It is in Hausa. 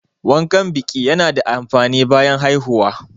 Wankan biƙi ya na da amfani bayan haihuwa